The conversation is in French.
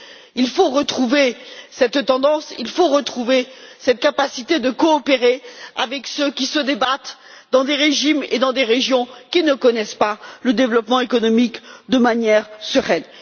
Il faut retrouver cette tendance, cette capacité de coopérer avec ceux qui se débattent dans des régimes et dans des régions qui ne connaissent pas le développement économique de manière sereine.